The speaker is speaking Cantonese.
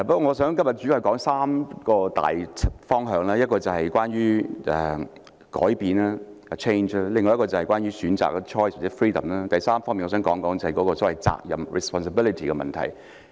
我今天主要想談論3個大方向，一個是關於改變，第二個是關於選擇，第三，我想談談責任的問題。